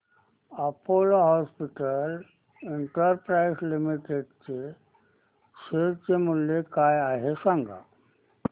Apollo hospitals enterprises limited चे share मूल्य काय आहे सांगा